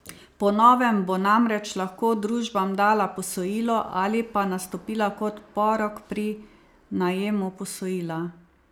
Po novem bo namreč lahko družbam dala posojilo ali pa nastopila kot porok pri najemu posojila.